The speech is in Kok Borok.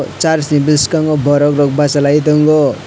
aw church ni bwskango borok rok basa lai tongo.